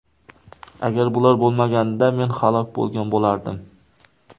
Agar bular bo‘lmaganida men halok bo‘lgan bo‘lardim.